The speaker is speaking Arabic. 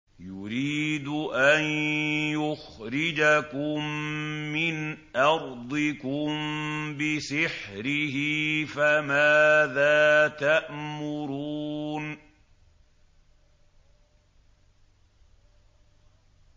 يُرِيدُ أَن يُخْرِجَكُم مِّنْ أَرْضِكُم بِسِحْرِهِ فَمَاذَا تَأْمُرُونَ